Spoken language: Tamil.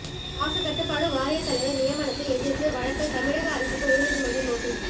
மாசுக்கட்டுப்பாட்டு வாரியத் தலைவர் நியமனத்தை எதிர்த்து வழக்கு தமிழக அரசுக்கு உயர்நீதிமன்றம் நோட்டீஸ்